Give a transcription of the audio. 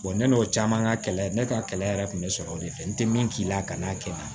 ne n'o caman ka kɛlɛ ne ka kɛlɛ yɛrɛ kun bɛ sɔrɔ o de fɛ n tɛ min k'i la ka n'a kɛ